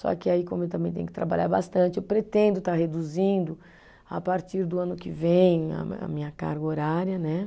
Só que aí, como eu também tenho que trabalhar bastante, eu pretendo estar reduzindo a partir do ano que vem a me, a minha carga horária, né?